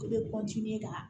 E bɛ ka